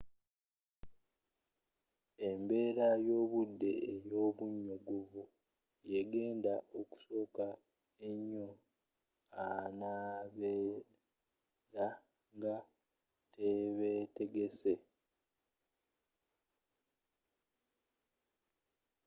embeera y'obudde ey'obunyogovu yegenda okukosa ennyo abanabeera nga tebeetegese